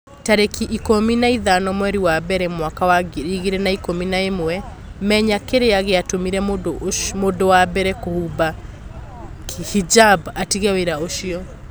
Tarĩki ikũmi na ithano mweri wa mbere mwaka wa ngiri igĩrĩ na ikũmi na ĩmwe Menya kĩrĩa gĩatũmire mũndũ wa mbere kũhumba hijab 'atige wĩra ũcio.